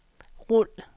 rul